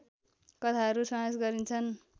कथाहरू समावेश गरिन्छन्